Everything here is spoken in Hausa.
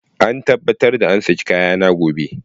A tabbatar an saki kayana gobe.